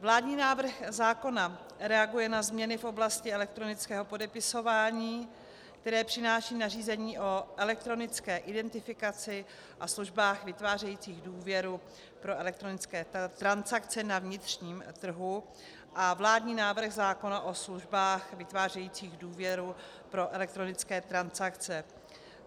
Vládní návrh zákona reaguje na změny v oblasti elektronického podepisování, které přináší nařízení o elektronické identifikaci a službách vytvářejících důvěru pro elektronické transakce na vnitřním trhu a vládní návrh zákona o službách vytvářejících důvěru pro elektronické transakce.